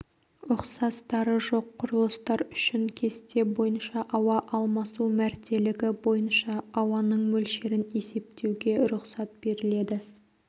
ұқсастары жоқ құрылыстар үшін кесте бойынша ауа алмасу мәртелігі бойынша ауаның мөлшерін есептеуге рұқсат беріледі